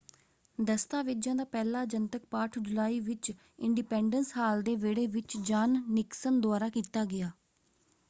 ਦਸਤਾਵੇਜ਼ਾਂ ਦਾ ਪਹਿਲਾ ਜਨਤਕ ਪਾਠ ਜੁਲਾਈ ਵਿੱਚ ਇੰਡੀਪੈਂਡਸ ਹਾਲ ਦੇ ਵਿਹੜੇ ਵਿੱਚ ਜਾੱਨ ਨਿਕਸਨ ਦੁਆਰਾ ਕੀਤਾ ਗਿਆ।